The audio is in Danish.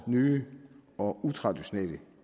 nye og utraditionelle